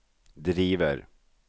driver